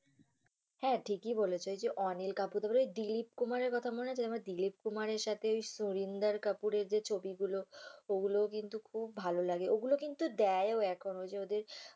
হ্যা ঠিকই বলেছ, ঐযে অনিল কাপুরের দিলীপ কুমারের কথা মনে আছে? দিলীপ কুমারের সাথে ঐ সলিন্দার কাপুরের যে ছবি গুলো ওগুলোও কিন্তু খুব ভালো লাগে ওগুলো কিন্তু দেয় ও এখন ঐ যে ওদের